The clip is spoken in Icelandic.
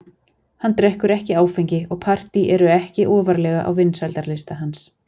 Hann drekkur ekki áfengi og partý eru ekki ofarlega á vinsældarlista hans.